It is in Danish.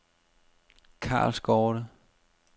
Karlsgårde